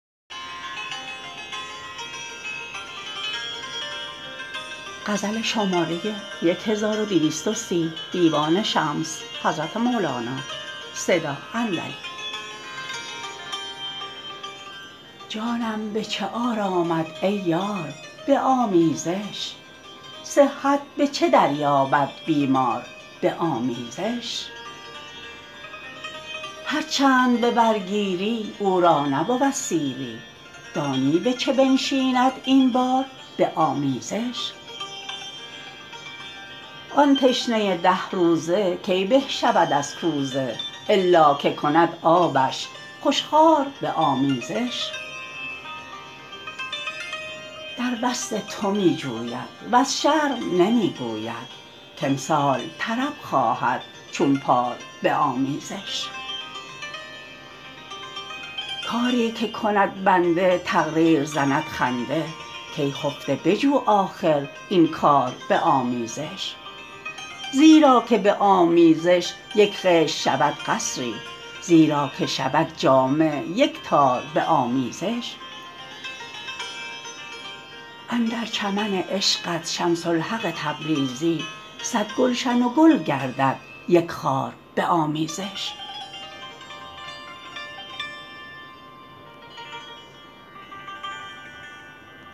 جانم به چه آرامد ای یار به آمیزش صحت به چه دریابد بیمار به آمیزش هر چند به بر گیری او را نبود سیری دانی به چه بنشیند این بار به آمیزش آن تشنه ده روزه کی به شود از کوزه الا که کند آبش خوش خوار به آمیزش در وصل تو می جوید وز شرم نمی گوید کامسال طرب خواهد چون پار به آمیزش کاری که کند بنده تقدیر زند خنده کای خفته بجو آخر این کار به آمیزش زیرا که به آمیزش یک خشت شود قصری زیرا که شود جامه یک تار به آمیزش اندر چمن عشقت شمس الحق تبریزی صد گلشن و گل گردد یک خار به آمیزش